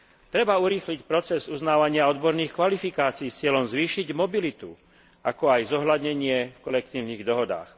Treba urýchliť proces uznávania odborných kvalifikácií s cieľom zvýšiť mobilitu, ako aj zohľadnenie v kolektívnych dohodách.